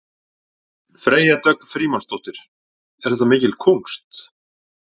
Freyja Dögg Frímannsdóttir: Er þetta mikil kúnst?